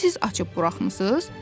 Onu siz açıb buraxmısız?